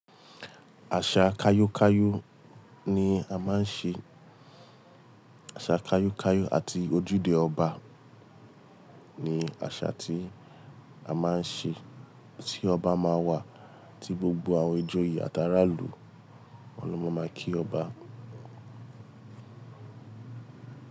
Àṣà kayo kayo ni a máa ń ṣe, àṣà kayo kayo àti ojúde ọba ni àṣà tí a máa ń ṣe, tí ọba máa wà tí gbogbo àwọn ìjòyè àtàràlù wọn ló máa máa kí ọba.